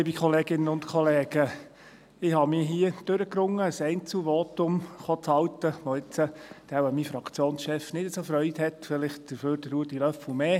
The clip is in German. Ich habe mich durchgerungen, hier ein Einzelvotum zu halten, an dem mein Fraktionschef wohl nicht so Freude haben wird, dafür vielleicht Ruedi Löffel umso mehr.